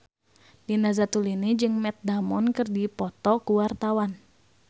Nina Zatulini jeung Matt Damon keur dipoto ku wartawan